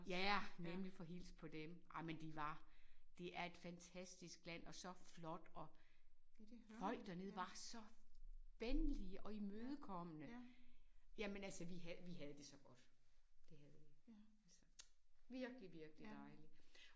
Ja nemlig få hilst på dem. Ej men de var det er et fantastisk land og så flot og folk dernede var så venlige og imødekommende jamen altså vi havde vi havde det så godt det havde vi altså. Virkelig virkelig dejligt